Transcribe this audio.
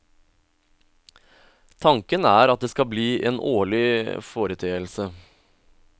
Tanken er at det skal bli en årlig foreteelse.